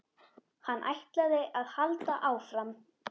Hann ætlaði að halda áfram.